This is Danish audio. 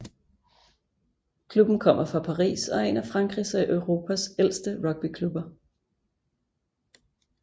Klubben kommer fra Paris og er en af Frankrigs og Europas ældste rugbyklubber